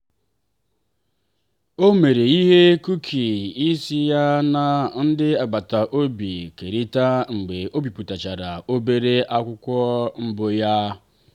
o mere ihe kuki ka ya na ndị agbata obi kerịta mgbe o bipụtachara obere akụkọ mbụ ya.